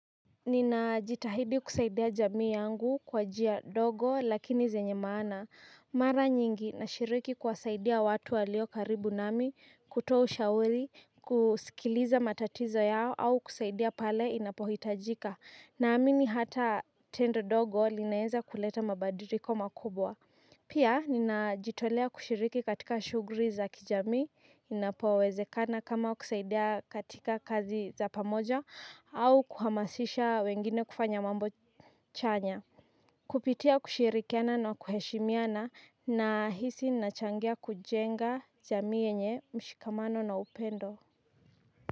Nina jitahidi kusaidia jamii yangu kwa njia ndogo lakini zenye maana. Mara nyingi nashiriki kuwasaidia watu walio karibu nami kuto ushauri kusikiliza matatizo yao au kusaidia pale inapohitajika. Naamini hata tendo dogo linaeza kuleta mabadiliko makubwa. Pia ninajitolea kushiriki katika shughuli za kijami inapowezekana kama kusaidia katika kazi za pamoja au kuhamasisha wengine kufanya mambo chanya kupitia kushirikiana na kuheshimiana nahisi nachangia kujenga jami yenye mshikamano na upendo.